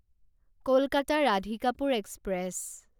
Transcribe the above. Kolkata Radhikapur express